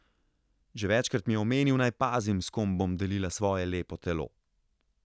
Že večkrat mi je omenil, naj pazim, s kom bom delila svoje lepo telo.